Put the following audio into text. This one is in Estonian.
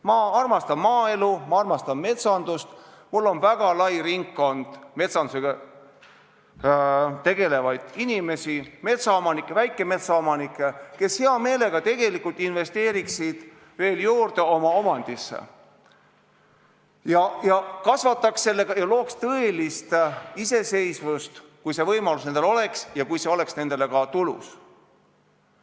Ma armastan maaelu, ma armastan metsandust, mul on väga lai tutvusringkond metsandusega tegelevaid inimesi, metsaomanikke, väikemetsaomanikke, kes hea meelega tegelikult investeeriksid veel oma omandisse ja kasvataks metsa ja looks aluse tõelisele iseseisvusele, kui see võimalus oleks ja kui see oleks nendele ka tulus.